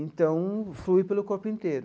Então, flui pelo corpo inteiro.